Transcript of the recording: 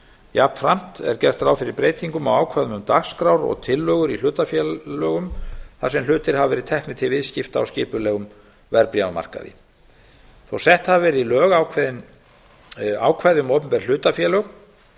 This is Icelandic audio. jafnframt er gert ráð fyrir ákveðnum breytingum á ákvæðum um dagskrár og tillögur í hlutafélögum þar sem hlutir hafa verið teknir til viðskipta á skipulegum verðbréfamarkaði þó að sett hafi verið í lög ákveðin ákvæði um opinber hlutafélög